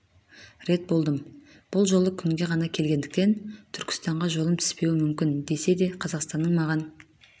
рет болдым бұл жолы күнге ғана келгендіктен түркістанға жолым түспеуі мүмкін десе де қазақстанның маған